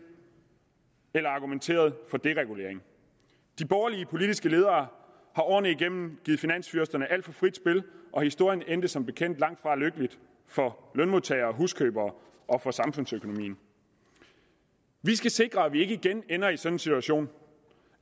eller argumenteret for deregulering de borgerlige politiske ledere har årene igennem givet finansfyrsterne alt for frit spil og historien endte som bekendt langt fra lykkeligt for lønmodtagere og huskøbere og for samfundsøkonomien vi skal sikre at vi ikke igen ender i sådan en situation